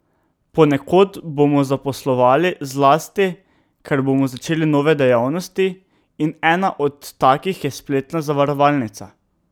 Ponekod bomo zaposlovali, zlasti ker bomo začeli nove dejavnosti, in ena od takih je spletna zavarovalnica.